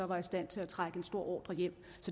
var i stand til at trække en stor ordre hjem